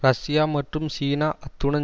Russia மற்றும் China அத்துடன்